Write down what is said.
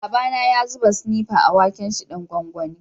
Baba na ya zuba sinepa a waken' shi dan gwangwani.